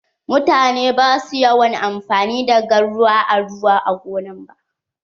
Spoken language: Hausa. Mutane ba su yawan amfani da garwa na ruwa a gonar su.